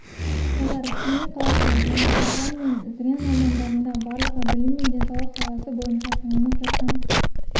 олар семей қаласы және үржар мен зырян аудандарында барлығы білім мен денсаулық саласы бойынша салынып жатқан